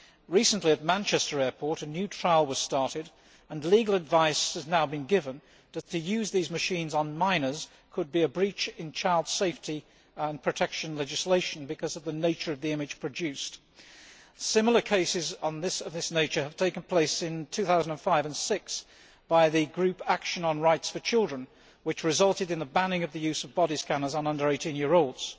Recently, at Manchester Airport, a new trial was started and legal advice has now been given that to use these machines on minors could be in breach of child safety and protection legislation because of the nature of the image produced. Similar cases of this nature took place in 2005 and 2006 by the Action on Rights for Children group, which resulted in the banning of the use of body scanners on under 18 year olds.